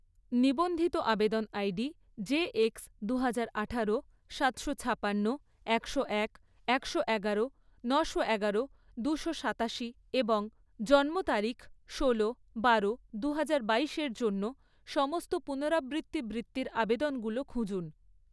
নিবন্ধিত আবেদন ID JX দুহাজার আঠারো, সাতশো ছাপান্ন, একশো এক, একশো এগারো, নশো এগারো, দুশো সাতাশি এবং জন্ম তারিখ ষোলো বারো দুহাজার বাইশ এর জন্য, সমস্ত পুনরাবৃত্তি বৃত্তির আবেদনগুলো খুঁজুন